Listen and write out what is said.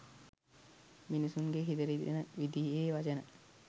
මිනිසුන්ගේ හිත රිදෙන විදිහේ වචන